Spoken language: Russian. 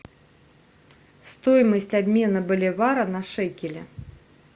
стоимость обмена боливара на шекели